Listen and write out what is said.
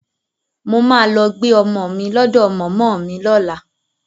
Mo máa lọ gbé ọmọ mi lọ́dọ̀ mọ̀mọ́ mi lọ́la